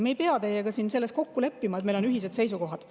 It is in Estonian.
Me ei pea teiega siin kokku leppima, et meil on ühine seisukoht.